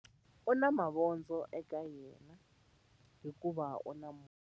U na mavondzo eka yena hikuva u na movha.